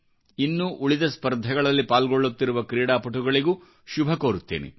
ಇನ್ನೂ ಉಳಿದ ಸ್ಪರ್ಧೆಗಳಲ್ಲಿ ಪಾಲ್ಗೊಳ್ಳುತ್ತಿರುವ ಕ್ರೀಡಾಪಟುಗಳಿಗೂ ಶುಭವನ್ನುಕೋರುತ್ತೇನೆ